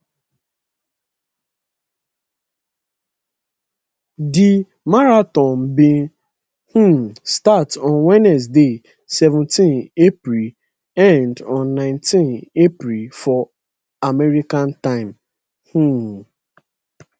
di marathon bin um start on wednesday seventeenapril end on 19 april for america time um